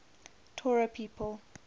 torah people